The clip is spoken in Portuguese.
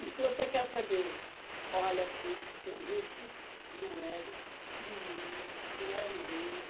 E se você quer saber, olha aqui, o Wilson, e o Welison, e o William, e o Elineide.